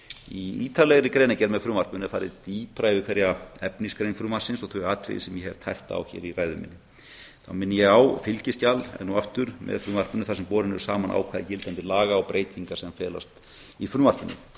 í ítarlegri greinargerð með frumvarpinu er farið dýpra yfir hverja efnisgrein þess og þau atriði sem ég hef tæpt á hér í ræðu minni þá minni ég á fylgiskjal enn og aftur með frumvarpinu þar sem borin eru saman ákvæði gildandi laga og breytingar sem felast í frumvarpinu